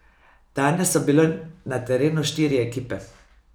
Danes so bile na terenu štiri ekipe.